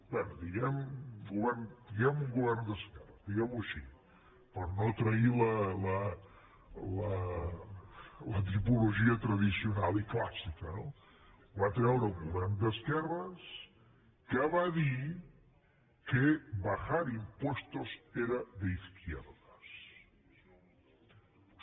bé diguem un govern d’esquerres diguem ho així per no trair la tipologia tradicional i clàssica no ho va treure un govern d’esquerres que va dir que bajar impuestos era de izquierdas